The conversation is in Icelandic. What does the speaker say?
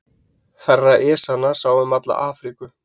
Herra Ezana sá um alla Afríku.